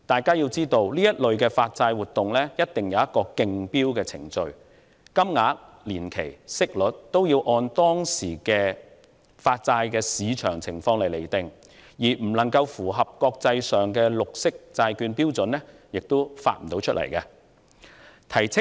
然而，這類發債活動須依循競標程序進行，債券面額、年期和息率均須按當時債券市場的情況釐定，如未能符合國際綠色債券標準，便不可以發行。